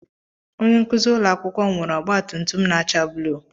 Onye nkuzi ụlọ akwụkwọ m nwere ọgba tum tum na-acha blu.